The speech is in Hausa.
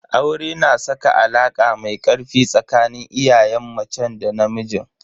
Aure na saka alaka mai ƙarfi tsakanin iyayen macen da namijin.